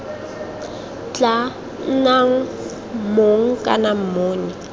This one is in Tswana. tla nnang mong kana monni